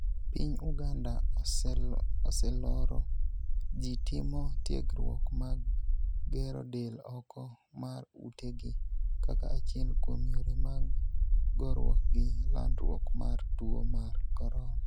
Piny Uganda oseloro ji timo tiegruok mag gero del oko mar ute gi kaka achiel kuom yore mag goruok gi landruok mar tuo mar corona